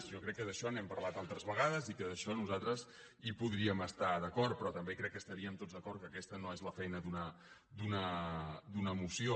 jo crec que d’això n’hem parlat altres vegades i que en això nosaltres hi podríem estar d’acord però també crec que estaríem tots d’acord que aquesta no és la feina d’una moció